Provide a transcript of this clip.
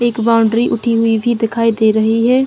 एक बाउंड्री उठी हुई भी दिखाई दे रही है।